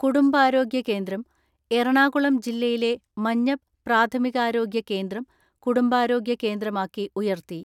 കുടുംബാരോഗ്യ കേന്ദ്രം എറണാകുളം ജില്ലയിലെ മഞ്ഞപ് പ്രാഥമികാരോഗ്യ കേന്ദ്രം കുടുംബാരോഗ്യ കേന്ദ്രമാക്കി ഉയർത്തി.